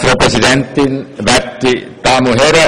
Kommissionssprecher der JuKo.